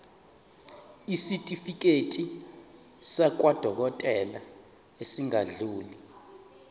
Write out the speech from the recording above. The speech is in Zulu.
isitifiketi sakwadokodela esingadluli